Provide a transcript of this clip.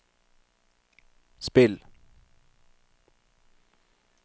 spill